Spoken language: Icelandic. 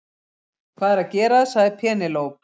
Hvað er að gerast sagði Penélope.